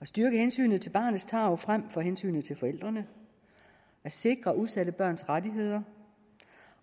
at styrke hensynet til barnets tarv frem for hensynet til forældrene at sikre udsatte børns rettigheder